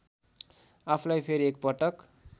आफूलाई फेरि एकपटक